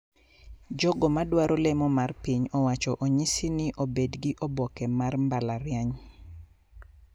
Jogo ma dwaro lemo mar piny owacho onyisi ni obedgi oboke mar mbalariany